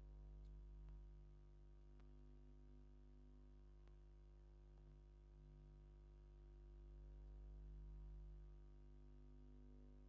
ዝመስል መስተታትን የጠቓልል። ዝተፈላለየ ምርጫታት ከመልክቱ ይኽእሉ። ነዞም ዝተፈላለዩ መስተታት ክትዕዘብ ከለኻ እንታይ ዓይነት ስምዒት እዩ ዝስምዓካ?